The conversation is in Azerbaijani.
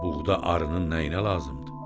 Buğda arının nəyinə lazımdır?